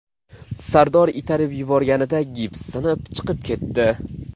Sardor itarib yuborganida gips sinib, chiqib ketdi.